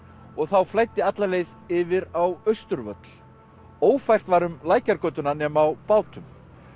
og þá flæddi alla leið yfir á Austurvöll ófært var um Lækjargötuna nema á bátum